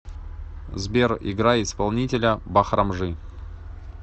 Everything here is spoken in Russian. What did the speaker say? сбер играй исполнителя бахрамжи